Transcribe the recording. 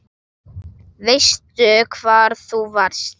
Veistu hvar þú varst?